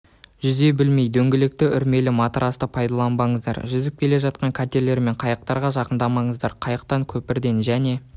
жүзе білмей дөңгелекті үрлемелі матрасты пайдаланбаңыздар жүзіп келе жатқан катерлер мен қайықтарға жақындамаңыздар қайықтан көпірден және